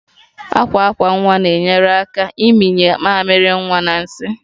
Akwa akwa nwa na-enyere aka ịmịnye mamịrị nwa na nsị